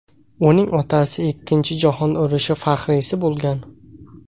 Uning otasi Ikkinchi jahon urushi faxriysi bo‘lgan.